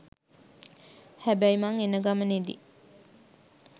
හැබැයි මං එනගමනෙදි